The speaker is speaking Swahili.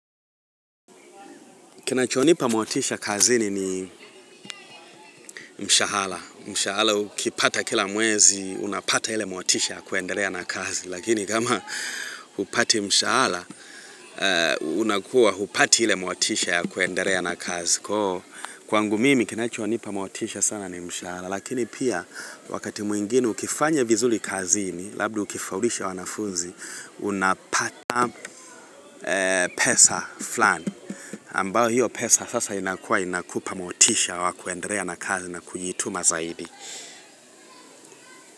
Kinachonipa motisha kazini ni mshahara. Mshahara, ukipata kila mwezi, unapata ile motisha kuendelea na kazi. Lakini kama hupati mshahara, unakuwa hupati ile motisha ya kuendelea na kazi. Kwangu mimi, kinachonipa motisha sana ni mshahara. Lakini pia, wakati mwingine ukifanya vizuri kazini, labda ukifaulisha wanafunzi, unapata pesa flani. Ambayo hiyo pesa sasa inakuwa inakupa motisha wa kuendelea na kazi na kujituma zaidi.